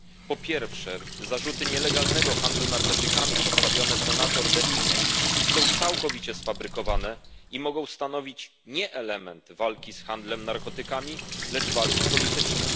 Po pierwsze, zarzuty nielegalnego handlu narkotykami postawione senator De Limie są całkowicie sfabrykowane i mogą stanowić nie element walki z handlem narkotykami, lecz walki politycznej.